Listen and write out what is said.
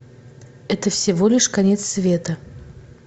это всего лишь конец света